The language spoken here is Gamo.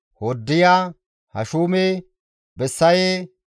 Hoddiya, Hashume, Bessaye,